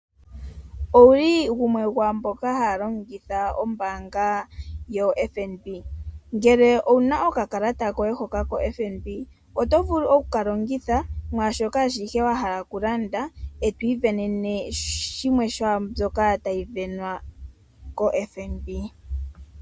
Owuli gumwe gomwaamboka haya longitha ombaanga yoFNB, ngele owuna okakalata koye hoka koFNB oto vulu okuka longitha mwaashoka ashike wahala okulanda eto isindanene yimwe yomiisindomwa mbyoka tayi sindanwa koFNB.